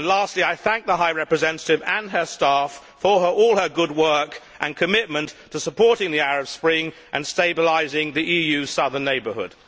Lastly, I thank the High Representative and her staff for all their good work and commitment to supporting the Arab Spring and stabilising the EU southern neighbourhood.